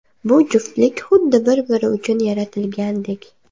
Bu juftlik xuddi bir-biri uchun yaratilgandek!